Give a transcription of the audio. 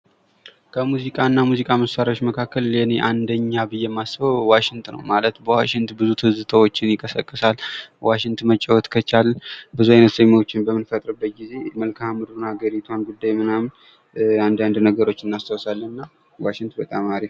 ከሙዚቃ እና ከሙዚቃ መሳሪያዎች መካከል ለእኔ አንደኛ ብዬ የማስበው ዋሽንት ነው። ዋሽንት ብዙ ትዝታዎችን ይቀሰቅሳል። ዋሽንት መጫወት ከቻልን ብዙ ዓይነት ዜማዎችን በምንፈጥርበት ጊዜ መልካም ምድሩ፣ የሀገሪቱን ጉዳይ ምናምን አንዳንድ ነገሮችን እናስታውሳለን እና ዋሽንት በጣም አሪፍ ነው ።